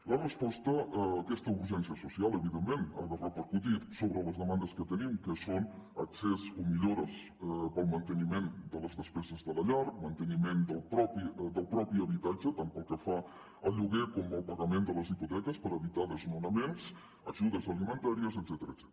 la resposta a aquesta urgència social evidentment ha de repercutir sobre les demandes que tenim que són accés o millores per al manteniment de les despeses de la llar manteniment del propi habitatge tant pel que fa al lloguer com al pagament de les hipoteques per evitar desnonaments ajudes alimentàries etcètera